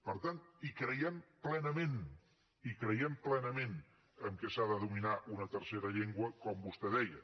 per tant hi creiem plenament hi creiem plenament que s’ha de dominar una tercera llengua com vostè deia